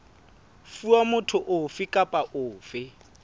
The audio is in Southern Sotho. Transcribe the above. fuwa motho ofe kapa ofe